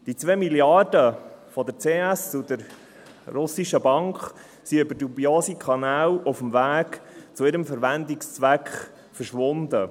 Die 2 Milliarden der CS und der russischen Bank sind über dubiose Kanäle auf dem Weg zu ihrem Verwendungszweck verschwunden.